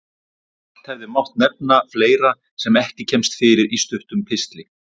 Margt hefði mátt nefna fleira sem ekki kemst fyrir í stuttum pistli.